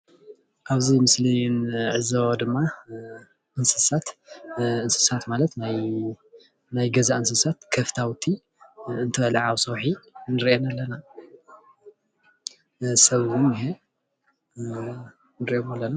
ኣብዚ ምስሊ እንዕዘቦ ድማ እንስሳት እንስሳት ማለት ናይ ገዛ እንስሳት ናይ ከፍታውቲ እንትበልዓ ኣብ ሰውሒ ንርአን ኣለና፡፡ ሰብ እውን እንኤ ንሪኦም ኣለና፡፡